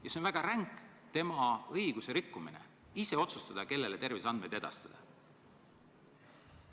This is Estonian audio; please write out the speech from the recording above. See on väga ränk patsiendi õiguse rikkumine – ise otsustada, kellele terviseandmeid edastada.